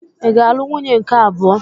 Ị ga-alụ nwunye nke abụọ.